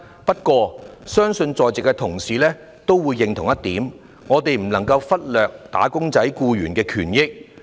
不過，我相信在席同事也會認同一點，就是我們不能忽略"打工仔"的權益。